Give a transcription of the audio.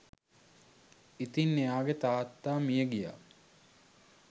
ඉතින් එයාගෙ තාත්තා මියගියා